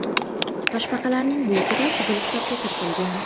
Toshbaqalarning bu turi Qizil kitobga kiritilgan.